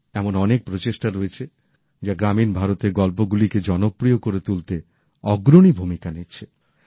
এমন অনেক প্রচেষ্টা রয়েছে যা গ্রামীণ ভারতের গল্পগুলিকে জনপ্রিয় করে তুলতে অগ্রণী ভূমিকা নিচ্ছে